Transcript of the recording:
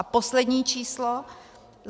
A poslední číslo.